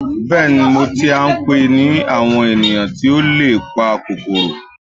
bẹẹni, Mo ti a npe ni awon eniyan ti o le pa kokoro